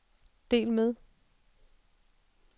del med